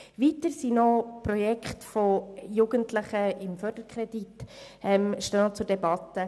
Weiter stehen mit dem Förderkredit Projekte von Jugendlichen zur Debatte.